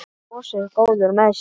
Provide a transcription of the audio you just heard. Brosir, góður með sig.